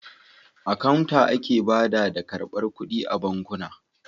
A kawunta ake bada da ƙarbar ƙuɗi a bankuna.